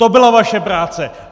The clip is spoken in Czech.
To byla vaše práce!